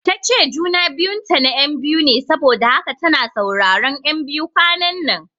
Tace juna biyun ta na ƴan biyu ne saboda haka tana sauraron ƴan biyu kwananan